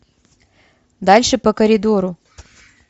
дальше по коридору